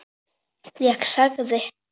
Ég þagði.